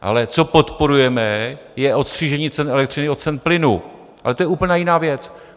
Ale co podporujeme, je odstřižení cen elektřiny od cen plynu - ale to je úplně jiná věc.